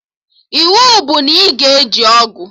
Iwu bụ na ị ga-eji ọgụ!